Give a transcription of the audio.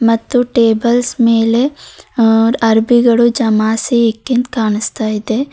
ಮತ್ತು ಟೇಬಲ್ಸ್ ಮೇಲೆ ಅ ಅರಬಿಗಳು ಜಮಾಯಿಸಿ ಹಿಕ್ಕಿಂದ್ ಕಾಣಿಸ್ತಾ ಇದೆ.